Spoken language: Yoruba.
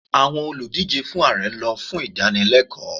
Àwọn olùdíje fún Ààrẹ lọ fún ìdánilẹ́kọ̀ọ́